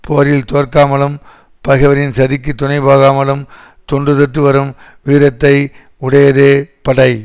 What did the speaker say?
போரில் தோற்காமலும் பகைவரின் சதிக்குத் துணை போகாமலும் தொன்று தொட்டு வரும் வீரத்தை உடையதே படை